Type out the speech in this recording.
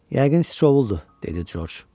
Yəqin sıçovuldu, dedi Corc.